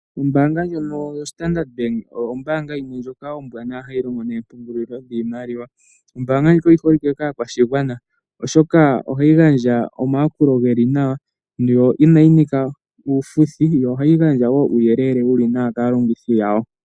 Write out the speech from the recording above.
Ombanga ndjono yoStandard Bank oyo ombanga yimwe ndjono ombwanawa hayi longo noompungulilo dhiimaliwa. Ombanga ndjika oyi holike kaakwashigwana oshoka ohayi gandja omayakulo geli nawa, yo inayi nika uufuthi. Yo ohayi gandja wo uuyelele wuli nawa kaalongithi yawo.